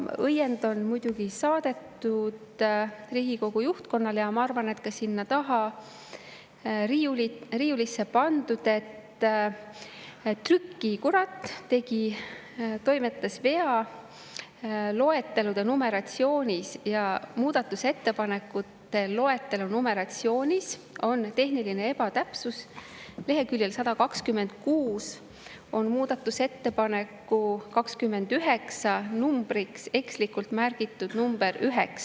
Riigikogu juhtkonnale on saadetud õiend – ma arvan, et see on ka sinna taha riiulisse pandud –, et trükikurat tegi loetelu numeratsioonis toimetusvea ja muudatusettepanekute loetelu numeratsioonis on tehniline ebatäpsus: leheküljel 126 on muudatusettepaneku nr 29 numbriks ekslikult märgitud nr 9.